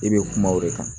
I bɛ kuma o de kan